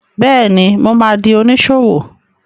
Bẹ́ẹ̀ni, mo ma di oníṣòwò